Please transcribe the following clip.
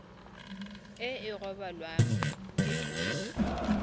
e e rebolwang ke tona